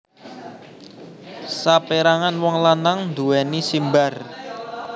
Saperangan wong lanang nduweni simbar